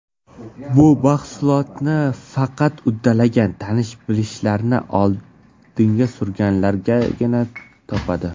Bu mahsulotni faqat uddalagan, tanish-bilishlarni oldinga surganlargina topadi.